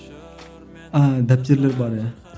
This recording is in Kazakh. ааа дәптерлер бар иә